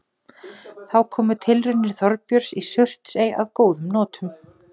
Þá komu tilraunir Þorbjörns í Surtsey að góðum notum.